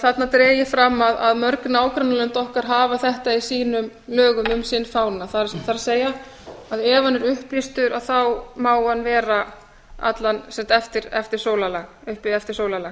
þarna er getið fram að mörg nágrannalönd okkar hafa þetta í sínum lögum um sinn fána það er að ef hann er upplýstur má hann vera uppi eftir sólarlag